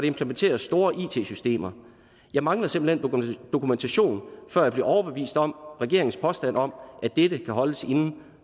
implementeres store it systemer jeg mangler simpelt hen dokumentation før jeg bliver overbevist om regeringens påstand om at dette kan holdes inden